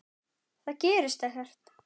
Það gerist ekkert.